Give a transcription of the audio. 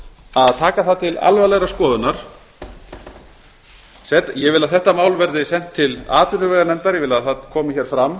að taka það til alvarlegrar skoðunar ég vil að þetta mál verði sent til atvinnuveganefndar ég vil að það komi fram